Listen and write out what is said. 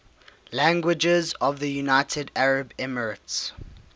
languages of the united arab emirates